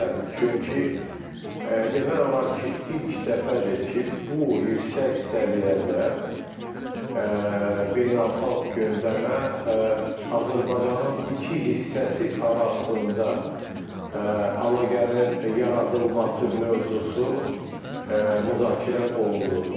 Çünki demək olar ki, ilk dəfədir ki, bu yüksək səviyyədə beynəlxalq gündəmə Azərbaycanın iki hissəsi arasında əlaqənin yaradılması mövzusu müzakirə olunur.